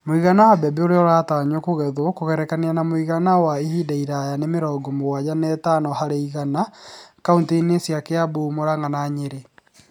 Mũigana wa mbembe ũrĩa ũratanywo kũgethwo kũgerekania na mũigana wa ihinda iraya nĩ mĩrongo mugwaja na ĩtano harĩ igana kauntĩ-inĩ cia Kiambu, Muranga na Nyeri.